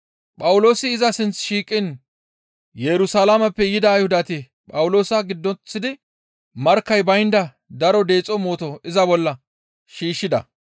Phawuloosi iza sinth shiiqiin Yerusalaameppe yida Ayhudati Phawuloosa giddoththidi markkay baynda daro deexo mooto iza bolla shiishshida.